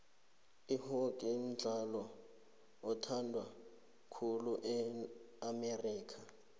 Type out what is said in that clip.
ihockey mdlalo othandwa khulu e amerika